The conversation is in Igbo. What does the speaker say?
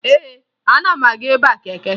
Ee, ana m aga ịba keke